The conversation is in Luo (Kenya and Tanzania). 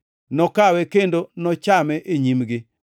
nokawe kendo nochame e nyimgi.